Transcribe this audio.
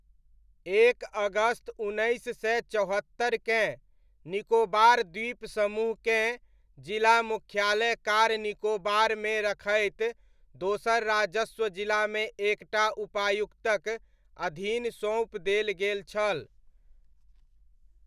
एक अगस्त उन्नैस सय चौहत्तरिकेँ, निकोबार द्वीप समूहकेँ जिला मुख्यालय कार निकोबारमे रखैत दोसर राजस्व जिलामे एक टा उपायुक्तक अधीन सोँपि देल गेल छल।